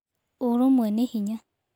Ũrũmwe nĩ hinya.